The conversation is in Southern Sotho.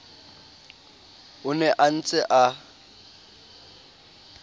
o ne a ntse a